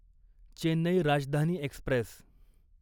Chennai Rajdhani Express